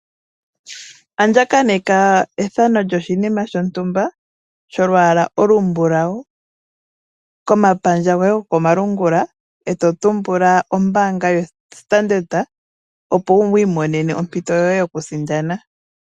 Andjakaneka ethano lyoshinima shontumba sholwala olu mblawu komapandja goye gokoma lungula eto tumbula ombanga yoStandard opo wu imonene ompito yoye yoku sindana.